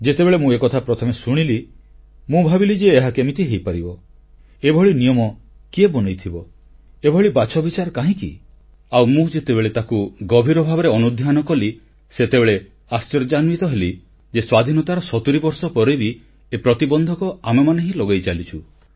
ଯେତେବେଳେ ମୁଁ ଏକଥା ପ୍ରଥମେ ଶୁଣିଲି ମୁଁ ଭାବିଲି ଯେ ଏହା କେମିତି ହେଇପାରିବ ଏଭଳି ନିୟମ କିଏ ବନେଇଥିବ ଏଭଳି ବାଛବିଚାର କାହିଁକି ଆଉ ମୁଁ ଯେତେବେଳେ ତାକୁ ଗଭୀର ଭାବରେ ଅନୁଧ୍ୟାନ କଲି ସେତେବେଳେ ଆଶ୍ଚର୍ଯ୍ୟାନ୍ୱିତ ହେଲି ଯେ ସ୍ୱାଧୀନତାର ସତୁରୀ ବର୍ଷ ପରେ ବି ଏ ପ୍ରତିବନ୍ଧକ ଆମେମାନେ ହିଁ ଲଗେଇ ଚାଲିଛୁ